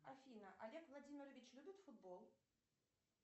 афина олег владимирович любит футбол